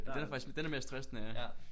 Den er faktisk den er mere stressende ja